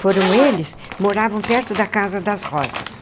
Foram eles moravam perto da Casa das Rosas.